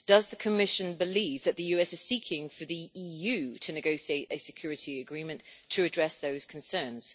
Does the Commission believes that the US is seeking for the EU to negotiate a security agreement to address those concerns?